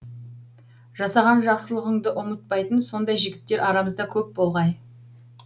жасаған жақсылығыңды ұмытпайтын сондай жігіттер арамызда көп болғай